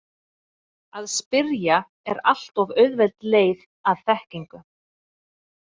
Að spyrja er allt of auðveld leið að þekkingu.